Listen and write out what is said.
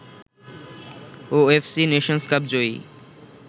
OFC Nations Cup Joyee